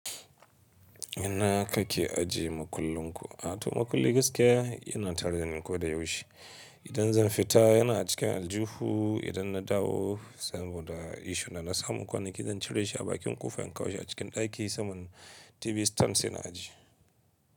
Ina kake ajiye makullin ku? A to makulli gaskiya yana tare dani ko da yaushe. Idan zan fita yana a cikin aljuhu, idan na dawo saboda isssue dana na samu kwanaki zan cire shi a bakin kofa in kawo shi a cikin ɗaki saman TV stand sai na ajiye.